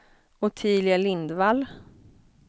Ottilia Lindvall